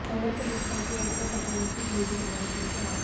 काँग्रेसच्या प्रस्तावाची वाट न पाहता वंचित बहुजन आघाडीचे नेते अॅड